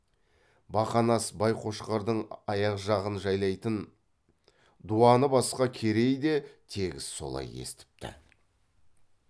бақанас байқошқардың аяқ жағын жайлайтын дуаны басқа керей де тегіс солай естіпті